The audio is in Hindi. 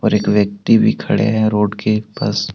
और एक व्यक्ति भी खड़े हैं रोड के पास।